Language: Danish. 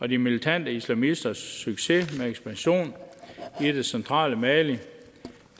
de militante islamisters succes med ekspansion i det centrale mali